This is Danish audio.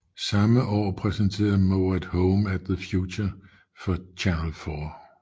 Samme år præsenterede Moate Home of the Future for Channel 4